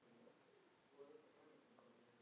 Þar slær hjartað mitt ennþá.